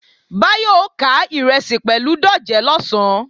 Báyọ̀ ó ká ìrẹsì pẹ̀lú dòjé lọ̀sán